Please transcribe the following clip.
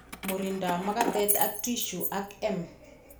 Murindab magatet ak tissue ak M